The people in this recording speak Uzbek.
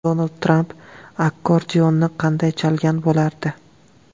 Donald Tramp akkordeonni qanday chalgan bo‘lardi?.